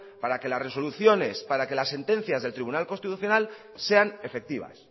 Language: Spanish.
para que las resoluciones para que las sentencias del tribunal constitucional sean efectivas